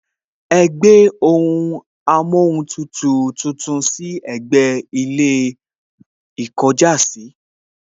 Ẹ gbé ohun amóhuntutù tuntun sí ẹ̀gbẹ́ ilé ìkọjásìí